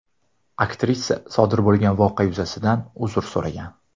Aktrisa sodir bo‘lgan voqea yuzasidan uzr so‘ragan.